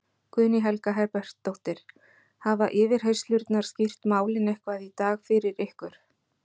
Guðný Helga Herbertsdóttir: Hafa yfirheyrslurnar skýrt málin eitthvað í dag fyrir ykkur?